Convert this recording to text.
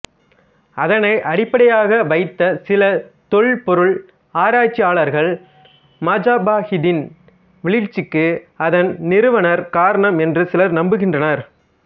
அதனை அடிப்படையாக வைத்த சில தொல்பொருள் ஆராய்ச்சியாளர்கள் மஜாபஹித்தின் வீழ்ச்சிக்கு அதன் நிறுவனர் காரணம் என்று சிலர் நம்புகின்றனர்